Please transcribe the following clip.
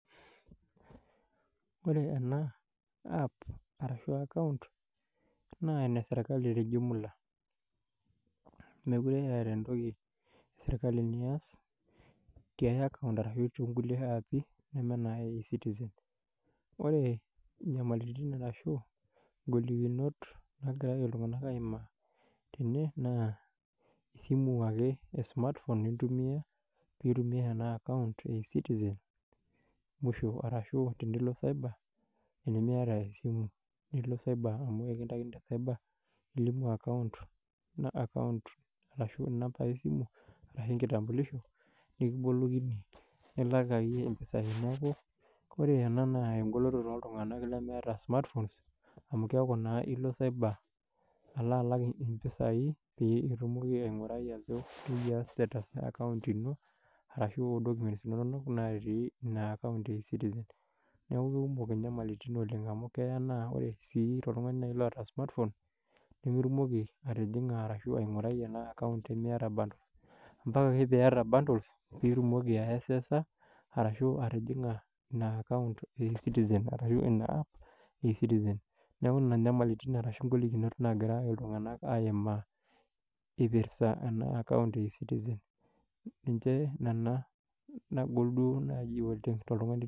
Wore ena app arashu account, naa eneserkali tejumula. Mekure eeta entoki esirkali niass tiai account arashu toonkulie appi, neme ena e ecitizen. Wore inyamalitin arashu ingolikinot naakira oshi iltunganak aimaa tene, naa, esimu ake e smartphone intumiyia, pee itumie ena account e ecitizen musho, arashu tenilo cyber, tenimiata tesimu nilo cyber amu ekintaikini te cyber, ilimu account, arashu inambai esimu arashu enkitambulisho, nikibolokini nilak naa iyie impisai. Neeku wore ena naa engoloto tooltunganak lemeeta smartphone amu keeku naa ilo cyber, alo alak impisai pee itumoki aingurai ajo keyia status e account ino, arashu documents inonok natii ina account e ecitizen. Neeku kekumok inyamalitin oleng' amu keya naa ore sii tooltungani naai oata smartphone, nemetumoki atijinga arashu aingurai ena account tenimiata bundles. Ambaka ake pee iata bundles pee itumoki aiaccesa arashu atijinga ina account e ecitizen arashu ina app e E-citizen. Neeku inia inyamalitin arashu ingolikinot naakira iltunganak aimaa, ipirsa ena account e ecitizen. Ninche niana naagol duo naaji oleng' tooltungani